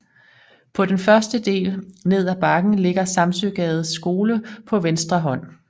På den første del ned af bakken ligger Samsøgades Skole på venstre hånd